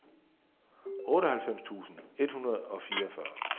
otteoghalvfems tusind et hundrede og fireogfyrre